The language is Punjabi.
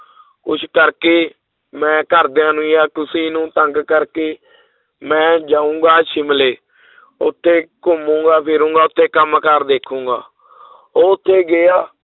ਉਸ ਕਰਕੇ ਮੈਂ ਘਰਦਿਆਂ ਨੂੰ ਜਾਂ ਕਿਸੇ ਨੂੰ ਤੰਗ ਕਰਕੇ ਮੈਂ ਜਾਊਂਗਾ ਸ਼ਿਮਲੇ ਉੱਥੇ ਘੁੰਮਾਂਗਾ, ਫਿਰਾਂਗਾ ਉੱਥੇ ਕੰਮ ਕਾਰ ਦੇਖਾਂਗਾ ਉੱਥੇ ਗਿਆ,